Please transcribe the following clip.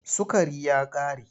Sukari ya ƙare.